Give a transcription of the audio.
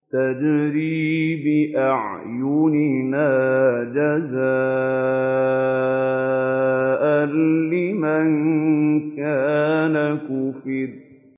تَجْرِي بِأَعْيُنِنَا جَزَاءً لِّمَن كَانَ كُفِرَ